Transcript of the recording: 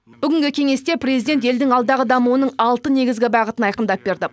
бүгінгі кеңесте президент елдің алдағы дамуының алты негізгі бағытын айқындап берді